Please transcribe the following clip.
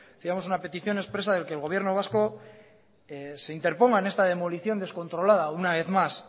llevamos una petición expresa de que el gobierno vasco interponga en esta demolición descontrolada una vez más